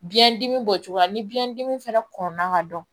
Biyɛndimi bɔcogo la ni biyɛndimi fana kɔnna ka dɔn